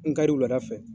N kari wula fɛ